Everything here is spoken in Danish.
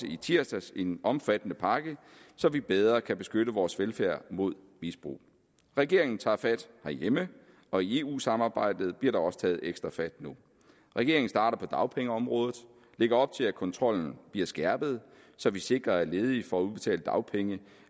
i tirsdags en omfattende pakke så vi bedre kan beskytte vores velfærd mod misbrug regeringen tager fat herhjemme og i eu samarbejdet bliver der også taget ekstra fat nu regeringen starter på dagpengeområdet og lægger op til at kontrollen bliver skærpet så vi sikrer at ledige får udbetalt dagpenge